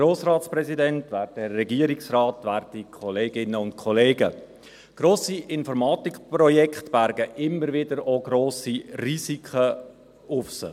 Grosse Informatikprojekte bergen immer wieder auch grosse Risiken in sich.